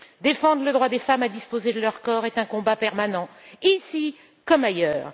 Défendre le droit des femmes à disposer de leur corps est un combat permanent, ici comme ailleurs.